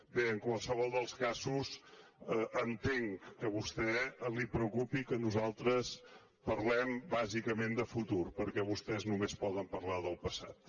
bé en qualsevol dels casos entenc que a vostè el preocupi que nosaltres parlem bàsicament de futur perquè vostès només poden parlar del passat